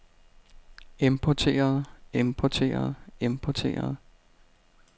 importeret importeret importeret